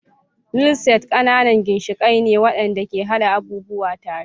Nail Set ƙananan ginshiƙai ne waɗanda ke haɗa abubuwa tare.